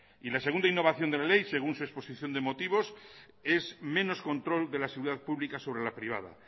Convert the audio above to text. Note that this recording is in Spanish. y la segunda innovación de la ley según su exposición de motivos es menos control de la seguridad pública sobre la privada